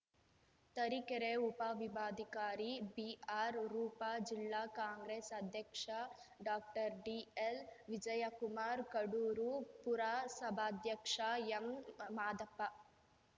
ತರೀಕೆರೆ ಉಪವಿಭಾಧಿಕಾರಿ ಬಿಆರ್‌ ರೂಪಾ ಜಿಲ್ಲಾ ಕಾಂಗ್ರೆಸ್‌ ಅಧ್ಯಕ್ಷ ಡಾಕ್ಟರ್ ಡಿಎಲ್‌ ವಿಜಯಕುಮಾರ್‌ ಕಡೂರು ಪುರಸಭಾಧ್ಯಕ್ಷ ಎಂಮಾದಪ್ಪ